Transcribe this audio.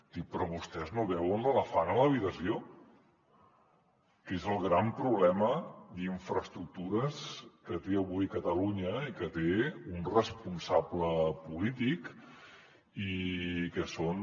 dic però vostès no veuen l’elefant a l’habitació que és el gran problema d’infraestructures que té avui catalunya i que té un responsable polític i que són